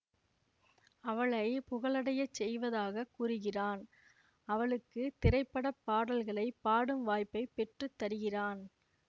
அவளை புகழடையச் செய்வதாக கூறுகிறான் அவளுக்கு திரைப்பட பாடல்களை பாடும் வாய்ப்பை பெற்று தருகிறான்